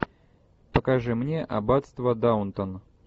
покажи мне аббатство даунтон